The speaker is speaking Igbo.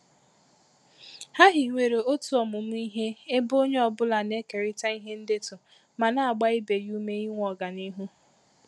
Ha hiwere otu ọmụmụ ihe ebe onye ọ bụla na-ekerịta ihe ndetu ma na-agba ibe ya ume inwe ọganihu.